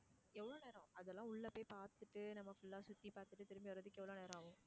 எவ்ளோ நேரம் அதெல்லாம் உள்ள போய் பாத்துட்டு நம்ப full ஆ சுத்தி பாத்துட்டு திரும்பி வர்றதுக்கு எவ்ளோ நேரம் ஆகும்?